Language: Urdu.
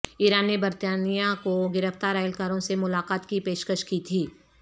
ایران نے برطانیہ کوگرفتار اہلکاروں سے ملاقات کی پیشکش کی تھی